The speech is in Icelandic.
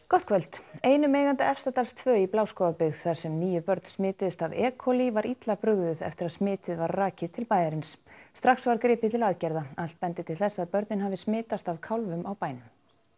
gott kvöld einum eiganda Efstadals tvö í Bláskógabyggð þar sem níu börn smituðust af e coli var illa brugðið eftir að smitið var rakið til bæjarins strax var gripið til aðgerða allt bendir til þess að börnin hafi smitast af kálfum á bænum